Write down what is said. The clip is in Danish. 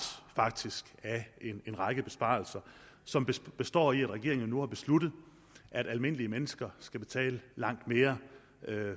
af en række besparelser som består i at regeringen har besluttet at almindelige mennesker skal betale langt mere